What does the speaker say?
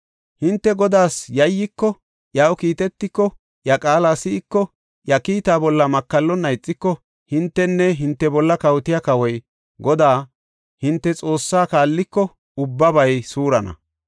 Hinte Godaas yayyiko, iyaw kiitetiko, iya qaala si7iko, iya kiitaa bolla makallonna ixiko, hintenne hinte bolla kawotiya kawoy Godaa hinte Xoossaa kaalliko ubbabay suurana.